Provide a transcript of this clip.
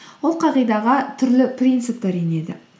ол қағидаға түрлі принциптер енеді